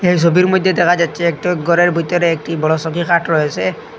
এই সবির মইদ্যে দেখা যাচছে একটু গরের বিতরে একটি বড় সৌকি খাট রয়েসে।